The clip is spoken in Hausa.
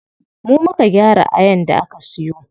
Mu muka gyara ayan da aka siyo.